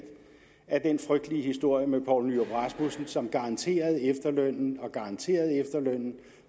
af den frygtelige historie med poul nyrup rasmussen som garanterede efterlønnen og garanterede efterlønnen